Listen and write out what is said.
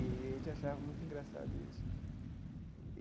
E a gente achava muito engraçado isso.